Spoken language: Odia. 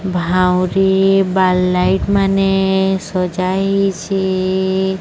ଭାଉଁରୀ ବଲ୍ଲାଇଟ୍ ମାନେ ସଜା ହେଇଛି।